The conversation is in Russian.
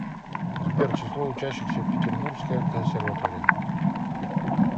сбер число учащихся петербургская консерватория